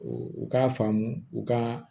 U k'a faamu u ka